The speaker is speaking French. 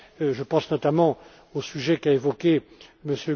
Je pense notamment au sujet qu'a évoqué